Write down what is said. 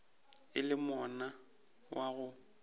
e le monna wa go